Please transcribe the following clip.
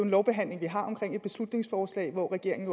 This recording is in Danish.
en lovbehandling vi har om et beslutningsforslag hvor regeringen